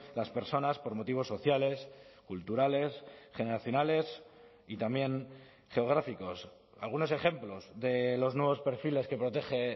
las personas por motivos sociales culturales generacionales y también geográficos algunos ejemplos de los nuevos perfiles que protege